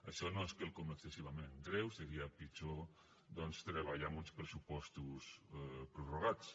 això no és quelcom excessivament greu seria pitjor doncs treballar amb uns pressupostos prorrogats